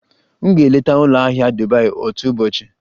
M ga-eleta ụlọ ahịa Dubai otu ụbọchị.